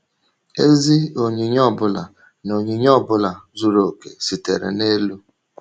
Ezi onyinye ọ bụla na onyinye ọ bụla zuru okè sitere n’elu.